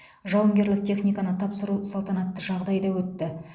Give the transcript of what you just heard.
жауынгерлік техниканы тапсыру салтанатты жағдайда өтті